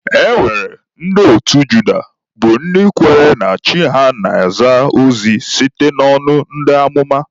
E nwere ndị otu Juda bụ ndị kwenyere na Chi ha na-ezi ha ozi site n'ọnụ ndị amụma.